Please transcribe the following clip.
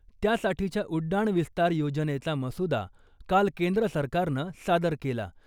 त्यासाठीच्या उड्डाण विस्तार योजनेचा मसुदा काल केंद्र सरकारनं सादर केला.